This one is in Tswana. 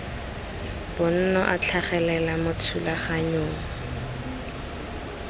bonno a tlhagelela mo thulaganyong